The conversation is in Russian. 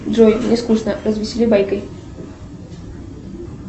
джой мне скучно развесели байкой